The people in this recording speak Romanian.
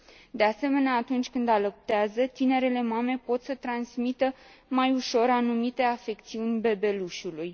De asemenea, atunci când alăptează, tinerele mame pot să transmită mai ușor anumite afecțiuni bebelușului.